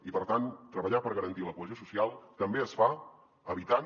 i per tant treballar per garantir la cohesió social també es fa evitant